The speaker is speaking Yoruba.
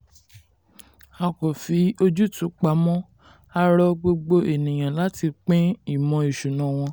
a kò fi ojútùú pamọ́; a rọ gbogbo ènìyàn láti pín ìmọ̀ ìṣúná wọn.